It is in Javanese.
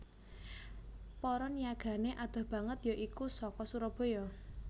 Para niyagané adoh banget ya iku saka Surabaya